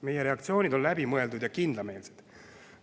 Meie reaktsioonid on läbi mõeldud ja kindlameelsed.